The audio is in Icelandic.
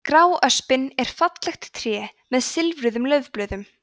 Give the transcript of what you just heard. gráöspin er fallegt tré með silfruðum laufblöðum